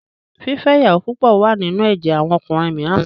Fífẹ́ ìyàwó púpọ̀ wà nínú ẹ̀jẹ̀ àwọn ọkùnrin mìíràn.